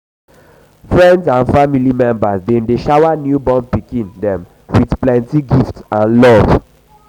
friend and family member dem dey shower di newborn pikin dem with plenty gift and love.